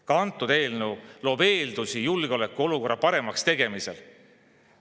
Ka antud eelnõu loob eeldusi julgeolekuolukorra paremaks tegemiseks.